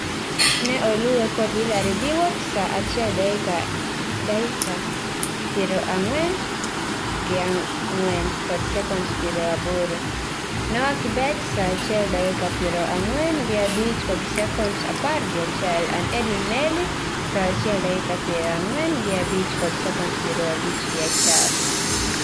Ne oluwe kod Hillary Biwot (saa achiel, dakika iero ang'wen gi ang'wen kod sekonds pieoro aboro), Noah Kibet (saa achiel, dakika piero ang'wen gi abich kod sekonds apar gi achiel) and Edwin Melly (saa achiel, dakia piero ang'wen gi abich kod sekonds piero abich gi achiel)